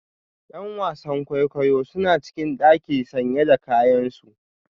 ’Yan wasan kwaikwayo suna cikin daki sanye da kayansu